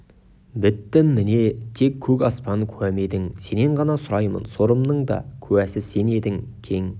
біттім міне тек көк аспан куәм едің сенен ғана сұраймын сорымның да куәсі сен едің кең